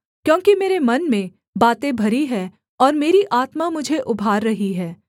क्योंकि मेरे मन में बातें भरी हैं और मेरी आत्मा मुझे उभार रही है